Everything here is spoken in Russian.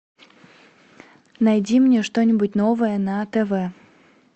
найди мне что нибудь новое на тв